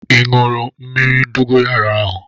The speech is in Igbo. Ee aṅụrụ m mmírí dogoyaro ahu